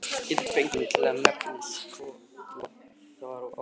Ég gat ekki fengið mig til að nefna skotvopn, það var of fáránlegt.